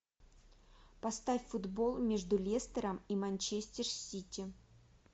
поставь футбол между лестером и манчестер сити